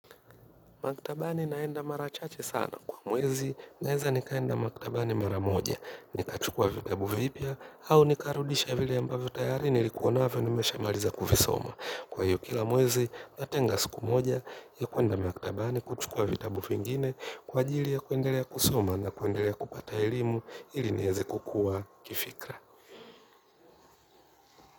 Maktabani naenda mara chache sana. Kwa mwezi, naweza nikaenda maktabani mara moja, nikachukua vitabu vipya, au nikarudisha vile ambavyo tayari nilikuwanavyo nimeshamaliza kuvisoma. Kwa hiyo kila mwezi, natenga siku moja, ya kwenda makitabani kuchukua vitabu vingine kwa ajili ya kuendelea kusoma na kuendelea kupata elimu ili niweze kukua kifikra.